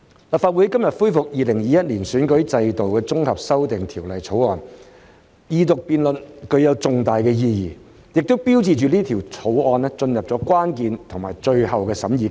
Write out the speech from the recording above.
立法會今天恢復《2021年完善選舉制度條例草案》的二讀辯論，具有重大意義，亦標誌着《條例草案》進入關鍵的最後審議階段。